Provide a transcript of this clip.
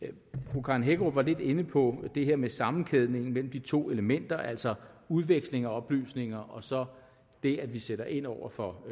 fru karen hækkerup var lidt inde på det her med sammenkædningen mellem de to elementer altså udveksling af oplysninger og så det at vi sætter ind over for